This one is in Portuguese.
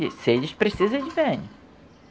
Se eles precisam, eles vêm.